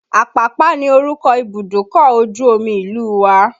Apapa ni orúkọ Ibùdókọ̀ ojú omi ìlú wa.